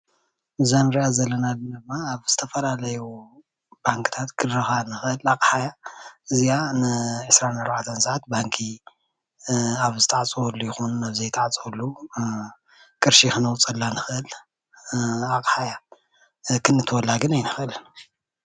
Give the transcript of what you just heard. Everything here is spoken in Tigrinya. እዛ ንርኣ ዘለና ድማ ኣብ ዝተፈላለዩ ባንክታት ክንረክባ ንኽእል ኣቕሓ እያ። እዚኣ ንዒስራን ኣርባዕተን ሰዓት ባንኪ ኣብ ዝተዓፀወሉ ይኹን ኣብ ዘይተዓፀወሉ ቕርሺ ክነውፀላ ንኽእል ኣቕሓ እያ ክነእትወላ ግን ኣይንኽእልን።